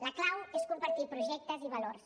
la clau és compartir projectes i valors